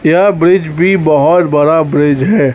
यह ब्रिज भी बहोत बड़ा ब्रिज है।